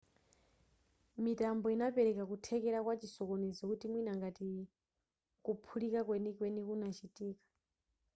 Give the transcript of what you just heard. mitambo inapereka kuthekera kwa chisokonezo kuti mwina ngati kuphulika kwenikweni kunachitika